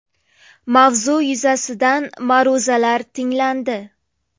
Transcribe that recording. Mavzu yuzasidan ma’ruzalar tinglandi.